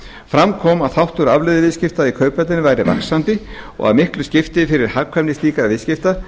fram kom að þáttur afleiðuviðskipta í kauphöllinni væri vaxandi og að miklu skipti fyrir hagkvæmni slíkra viðskipta